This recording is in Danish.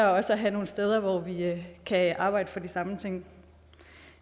også at have nogle steder hvor vi kan arbejde for de samme ting